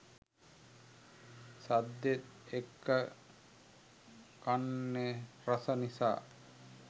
සද්දෙත් එක්ක කන්නෙ රස නිසා